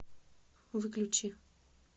выключи